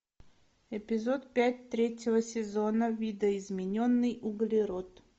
эпизод пять третьего сезона видоизмененный углерод